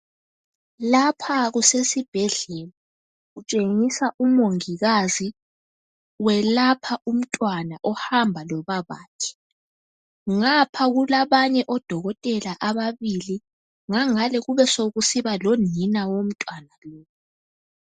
Lapha kusesibhedlela. Kutshengiswa umongikazi. Welapha umntwana ohamba lobabathi. Ngapha kulabanye odokotela ababili, ngangale kubesokusiba lonina womntwana.